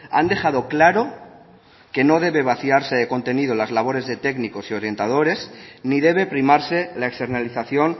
han dejado claro que no debe vaciarse de contenido las labores de técnicos y orientadores ni debe primarse la externalización